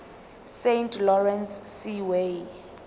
saint lawrence seaway